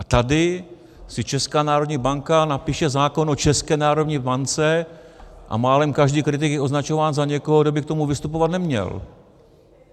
A tady si Česká národní banka napíše zákon o České národní bance a málem každý kritik je označován za někoho, kdo by k tomu vystupovat neměl.